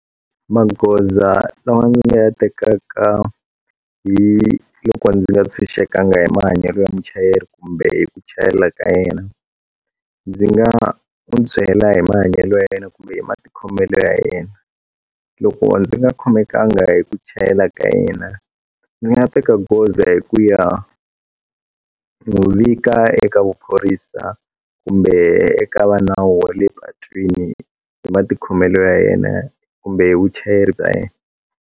Maghoza lama ni nga ya tekaka hi loko ndzi nga ntshunxekanga hi mahanyelo ya muchayeri kumbe hi ku chayela ka yena ndzi nga u byela hi mahanyelo ya yena kumbe hi matikhomelo ya yena loko ndzi nga khomekanga hi ku chayela ka yena ndzi nga teka goza hi ku ya n'wi vika eka vuphorisa kumbe eka va nawu wa le patwini hi matikhomelo ya yena kumbe vuchayeri bya yena.